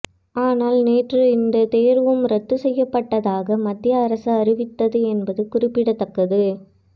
ஆனால் நேற்று இந்த தேர்வும் ரத்து செய்யப்பட்டதாக மத்திய அரசு அறிவித்தது என்பது குறிப்பிடதக்கது